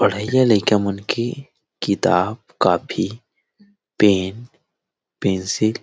पढ़ाइयया लईका मन के किताब कॉपी पेन पेंसिल --